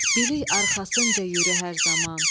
Bilik arxasınca yürü hər zaman.